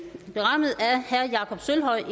gør